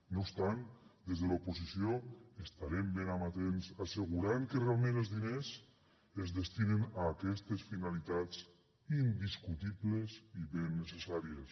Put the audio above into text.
no obstant des de l’oposició estarem ben amatents per assegurar que realment els diners es destinen a aquestes finalitats indiscutibles i ben necessàries